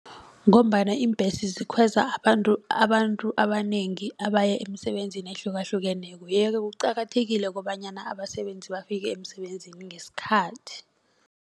Ngombana iimbhesi zikhweza abantu abantu abanengi abaye emsebenzini ehlukahlukeneko yeke kuqakathekile kobanyana abasebenzi bafike emsebenzini ngesikhathi.